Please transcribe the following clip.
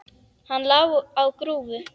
Hann lá á grúfu.